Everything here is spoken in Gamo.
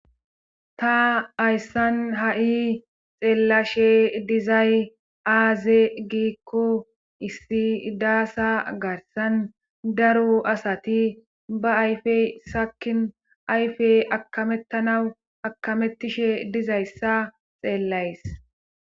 Ta ayssan ha'i xeellashe dizay aaze giikko issi daasa garsan daru asati ba ayfey sakin ayfey akamettanawu akamettishe dizayssa xeellays.